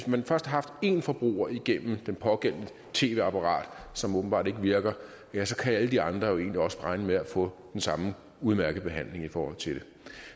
man først haft én forbruger igennem det pågældende tv apparat som åbenbart ikke virker ja så kan alle de andre jo egentlig også regne med at få den samme udmærkede behandling i forhold til det